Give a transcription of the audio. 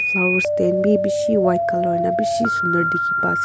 flower stand bi bishi white colour hoina bishi sunder dikhipa ase.